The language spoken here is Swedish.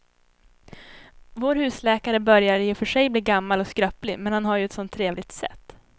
Vår husläkare börjar i och för sig bli gammal och skröplig, men han har ju ett sådant trevligt sätt!